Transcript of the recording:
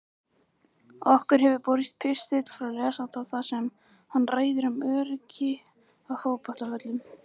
Okkur hefur borist pistill frá lesanda þar sem hann ræðir um öryggi á fótboltavöllum.